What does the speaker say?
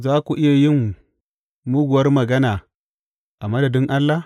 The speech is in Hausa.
Za ku iya yin muguwar magana a madadin Allah?